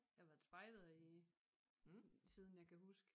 Jeg har været spejder i siden jeg kan huske